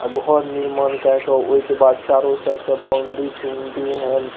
आ घर निर्माण केए के ओय के बाद चारों साइड से बाउंड्री तोंडरी --